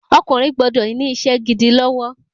Ọkùnrin gbọdọ̀ ní isé gidi lọ́wọ́